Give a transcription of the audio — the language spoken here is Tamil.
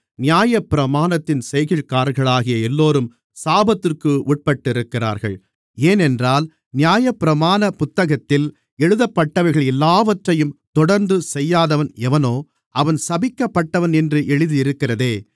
நியாயப்பிரமாணத்தின் செய்கைக்காரர்களாகிய எல்லோரும் சாபத்திற்கு உட்பட்டிருக்கிறார்கள் ஏனென்றால் நியாயப்பிரமாணப் புத்தகத்தில் எழுதப்பட்டவைகள்‌ எல்லாவற்றையும் தொடர்ந்து செய்யாதவன்‌ எவனோ அவன் சபிக்கப்பட்டவன் என்று எழுதியிருக்கிறதே